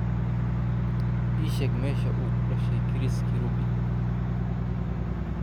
ii sheeg meesha uu ku dhashay chris kirubi